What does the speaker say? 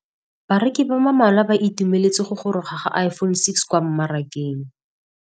Bareki ba ba malwa ba ituemeletse go gôrôga ga Iphone6 kwa mmarakeng.